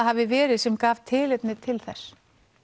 hafi verið sem gaf tilefni til þess